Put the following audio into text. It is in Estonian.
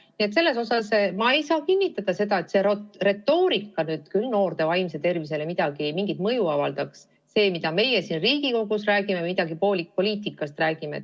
Nii et selles suhtes ma ei saa kinnitada, et see retoorika nüüd noorte vaimsele tervisele mingit mõju avaldaks – see, mida meie siin Riigikogus poliitikast räägime.